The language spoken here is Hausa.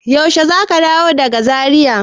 Yaushe za ka dawo daga Zaria?